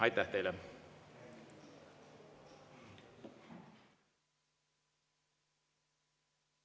Aitäh teile!